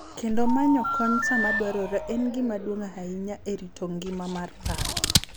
Kendo manyo kony sama dwarore en gima duong’ ahinya e rito ngima mar paro .